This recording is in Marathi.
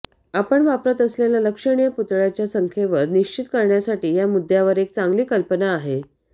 आपण वापरत असलेल्या लक्षणीय पुतळ्याच्या संख्येवर निश्चित करण्यासाठी या मुद्यावर एक चांगली कल्पना आहे